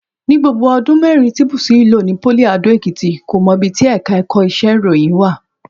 Ní gbogbo ọdún mẹ́rin tí Bùsúyì lò ní pólì Adó-Èkìtì, kò mọ ibi tí ẹ̀ka ẹ̀kọ́ iṣẹ́ ìròyìn wà